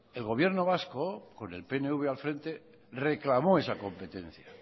el gobierno vasco con el pnv al frente reclamó esa competencia